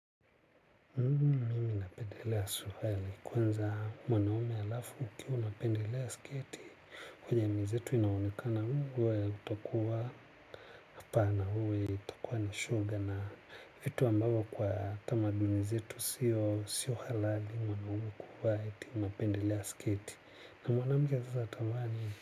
Mimi napendelea suruali kwanza mwanaume alafu ukiwa unapendelea sketi kwa jamii zetu inaonekana huwa utakuwa hapana huwa utakuwa ni shoga na vitu ambavyo kwa tamaduni zetu sio halali mwanaume kuwa eti unapendelea sketi na mwanamke sasa ata vaa nini.